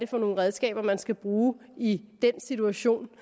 for nogle redskaber man skal bruge i den situation